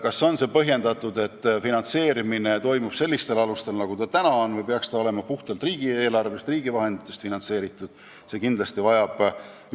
Kas on põhjendatud, et finantseerimine toimub sellistel alustel nagu täna või peaks ta olema puhtalt riigieelarvest, riigi vahenditest finantseeritud?